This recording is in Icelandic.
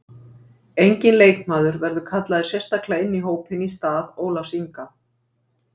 Enginn leikmaður verður kallaður sérstaklega inn í hópinn í stað Ólafs Inga.